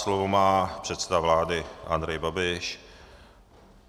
Slovo má předseda vlády Andrej Babiš.